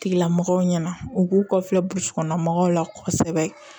Tigilamɔgɔw ɲɛna u k'u kɔfilɛ burusi kɔnɔna mɔgɔw la kɔsɛbɛ